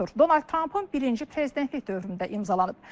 Donald Trampın birinci prezidentlik dövründə imzalanıb.